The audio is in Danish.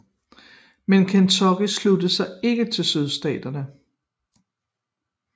Men Kentucky sluttede sig ikke til Sydstaterne